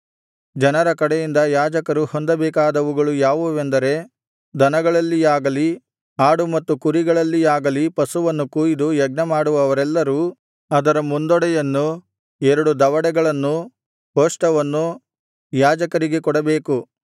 ಜನರ ಕಡೆಯಿಂದ ಯಾಜಕರು ಹೊಂದಬೇಕಾದವುಗಳು ಯಾವುವೆಂದರೆ ದನಗಳಲ್ಲಿಯಾಗಲಿ ಆಡು ಮತ್ತು ಕುರಿಗಳಲ್ಲಿಯಾಗಲಿ ಪಶುವನ್ನು ಕೊಯಿದು ಯಜ್ಞಮಾಡುವವರೆಲ್ಲರೂ ಅದರ ಮುಂದೊಡೆಯನ್ನೂ ಎರಡು ದವಡೆಗಳನ್ನೂ ಕೋಷ್ಠವನ್ನೂ ಒಳಭಾಗವನ್ನು ಯಾಜಕರಿಗೆ ಕೊಡಬೇಕು